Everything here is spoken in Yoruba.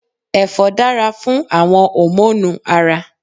Èfó dára fún àwon hòmónù Ara